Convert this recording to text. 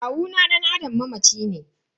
Kowani dan Adam mamaci ne.